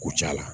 Kucala